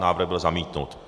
Návrh byl zamítnut.